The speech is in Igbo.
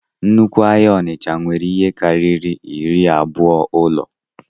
Nnukwu ahịa onitsha nwere ihe karịrị iri abụọ ụlọ